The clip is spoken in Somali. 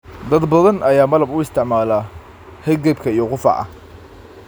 Dad badan ayaa malab u isticmaala hargabka iyo qufaca.